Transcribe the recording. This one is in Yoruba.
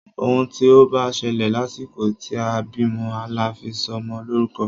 Òun tí o bá ṣẹlẹ̀ lásìkò tí a bímọ la fi sọ ọmọ lórúkọ.